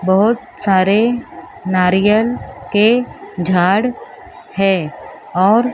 बहुत सारे नारियल के झाड़ है और--